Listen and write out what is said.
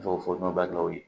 Dɔw fɔ nɔnɔ balimaw ye